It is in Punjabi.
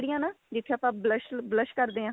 ਜਿਹੜੀਆਂ ਨਾ ਜਿੱਥੇ ਆਪਾਂ blush blush ਕਰਦੇ ਆਂ